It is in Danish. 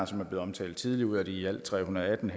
som er blevet omtalt tidligere ud af de i alt tre hundrede og atten